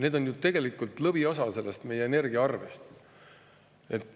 Need on ju tegelikult lõviosa meie energiaarvest.